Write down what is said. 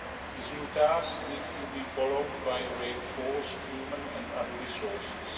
These new tasks need to be followed by reinforced human and other resources.